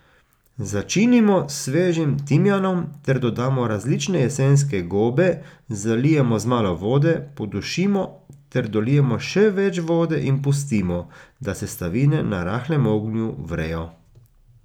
Začinimo s svežim timijanom ter dodamo različne jesenske gobe, zalijemo z malo vode, podušimo ter dolijemo še več vode in pustimo, da sestavine na rahlem ognju vrejo.